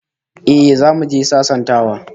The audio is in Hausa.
Eh, zamu je sasantawa